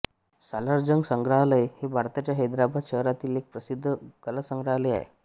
सालारजंग संग्रहालय हे भारताच्या हैदराबाद शहरातील एक प्रसिद्ध कलासंग्रहालय आहे